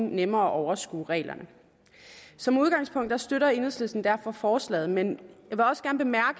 nemmere at overskue reglerne som udgangspunkt støtter enhedslisten derfor forslaget men